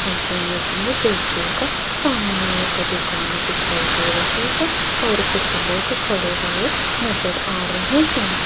इस इमेज मे देखियेगा सामने एक दुकान दिखाई दे रही है और कुछ लोग खड़े हुए नजर आ रहे हैं।